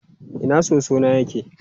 Ina soso na yake?